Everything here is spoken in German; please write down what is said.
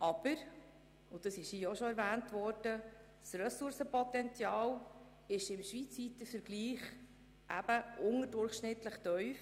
Aber – das wurde hier auch schon erwähnt – das Ressourcenpotenzial liegt im schweizweiten Vergleich unterdurchschnittlich tief.